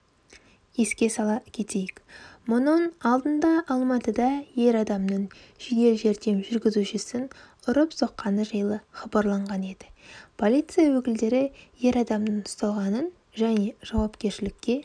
еске сала кетейік мұның алдындаалматыда ер адамның жедел жәрдем жүргізушісін ұрып-соққаны жайлы хабарланған еді полиция өкілдері ер адамның ұсталғанын және жауапкершілікке